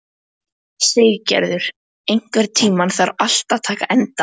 Siggerður, einhvern tímann þarf allt að taka enda.